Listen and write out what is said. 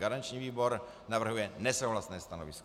Garanční výbor navrhuje nesouhlasné stanovisko.